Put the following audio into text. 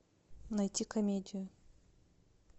найти комедию